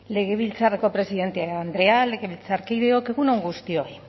legebiltzarreko presidente andrea legebiltzarkideok egun on guztioi